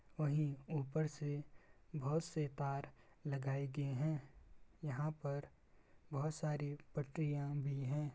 वही ऊपर से बहुत से तार लगाए गए हैं यहाँ पर बहुत सारी पटरिया भी हैं।